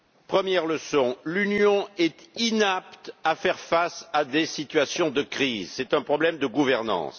Première leçon l'Union est inapte à faire face à des situations de crise, c'est un problème de gouvernance.